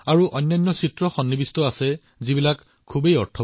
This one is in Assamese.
তাত ডাঙৰ মনোমোহা ছবি আৰু বিশাল অৰ্থপূৰ্ণ ছবি আছিল